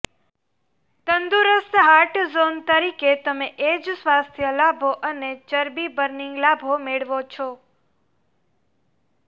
તંદુરસ્ત heart zone તરીકે તમે એ જ સ્વાસ્થ્ય લાભો અને ચરબી બર્નિંગ લાભો મેળવો છો